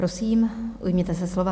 Prosím, ujměte se slova.